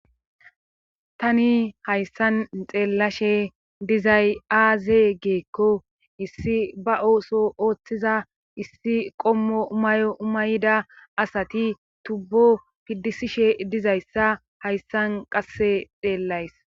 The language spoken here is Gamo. Tani hayssan xeellashe dizay'aaze geekko issi ba ooso ooththiza issi qommo umayo umayda asati tubbo piddisishe dizayssa hayssan qasse xeellays.